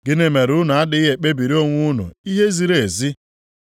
“Gịnị mere unu adịghị ekpebiri onwe unu ihe ziri ezi?